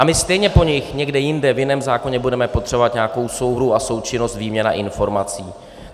A my stejně po nich někde jinde, v jiném zákoně, budeme potřebovat nějakou souhru a součinnost, výměnu informací.